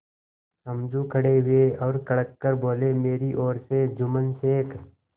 समझू खड़े हुए और कड़क कर बोलेमेरी ओर से जुम्मन शेख